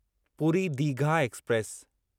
Puri Digha express